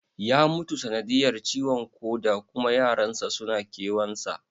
Ya mutu sanadiyar ciwon koda kuma yaran sa suna kewan sa